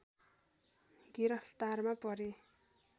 गिरफ्तारमा परे